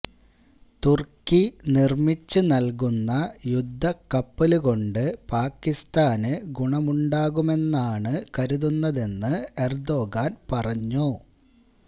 തുര്ക്കി നിര്മിച്ച് നല്കുന്ന യുദ്ധക്കപ്പലുകൊണ്ട് പാകിസ്ഥാന് ഗുണമുണ്ടാകുമെന്നാണ് കരുതുന്നതെന്ന് എര്ദോഗാന് പറഞ്ഞു